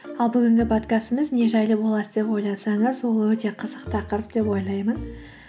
ал бүгінгі подкастымыз не жайлы болады деп ойласаңыз ол өте қызық тақырып деп ойлаймын